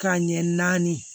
Ka ɲɛ naani